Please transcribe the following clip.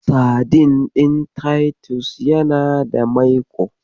Sadin ɗin Titus yana da maiƙo.